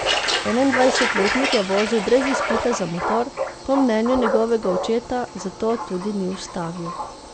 Enaindvajsetletnik je vozil brez izpita za motor, po mnenju njegovega očeta zato tudi ni ustavil.